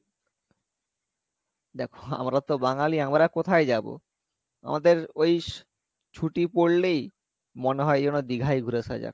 দেখো আমরা তো বাঙালি আমরা কোথায় যাবো আমাদের ওই ছুটি পড়লেই মনে হয় যেন দীঘাই ঘুরে আসা যাক